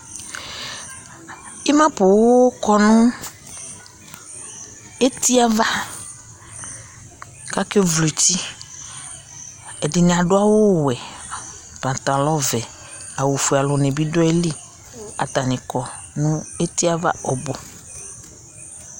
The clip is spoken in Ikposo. ima poŋ kɔ no eti ava k'ake vlo eti ɛdini adu awu wɛ pantalɔ vɛ awu fue alò ni bi do ayili atani kɔ no eti ava ɔbu